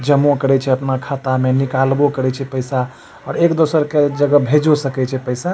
जमो करे छै अपना खाता मे निकाल बो करे छै पैसा और एक दोसर के जे के भेजो सके छै पैसा।